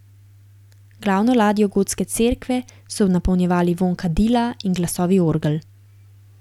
Glavno ladjo gotske cerkve so napolnjevali vonj kadila in glasovi orgel.